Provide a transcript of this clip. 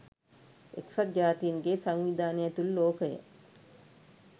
එක්සත් ජාතීන්ගේ සංවිධානය ඇතුළු ලෝකය